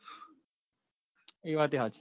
એ વાત એ હાચી